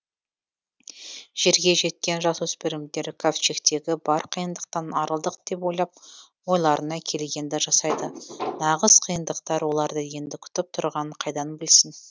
жерге жеткен жасөспірмдер кавчегтегі бар қиыныдқтан арылдық деп ойлап ойларына келгенді жасайды нағыз қиыныдқтар оларды енді күтіп тұрғанын қайдан білсін